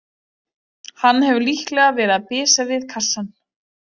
Hann hefur líklega verið að bisa við kassann.